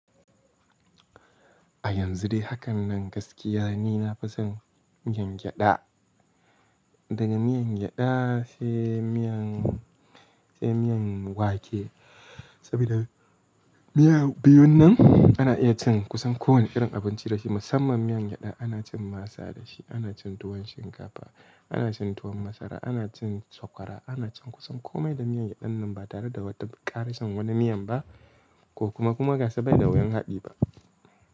A yanzu dai, hakan nan gaskiya ne. Na fi son miyan gyada daga miyan gyada, sai miyan, sai miyan wake. Saboda miya biyun nan ana iya cin kusan kowane irin abinci da shi. Musamman miyan gyada ana cin masa da shi, ana cin tuwon shinkafa, ana cin tuwon masara, ana cin sokwara, ana cin kusan kome da miyan gyadan nan ba tare da wata ƙarasan wani miyan ba ko kuma, kuma gaskiya bai da wayan haɗi ba.